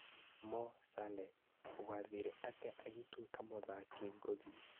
Moh Sale: Gũathire atĩa agĩtuĩka mũthaki ngũthi